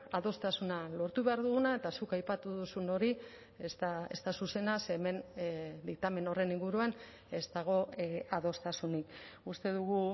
adostasuna lortu behar duguna eta zuk aipatu duzun hori ez da zuzena ze hemen diktamen horren inguruan ez dago adostasunik uste dugu